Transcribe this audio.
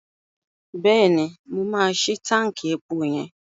Bẹ́ẹ̀ni, mo máa ṣí táǹkì epo yẹn.